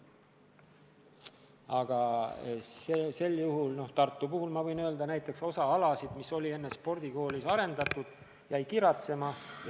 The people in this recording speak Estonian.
Aga näiteks Tartu kohta ma võin öelda, et osa alasid, mida enne spordikoolis oli arendatud, jäi kiratsema.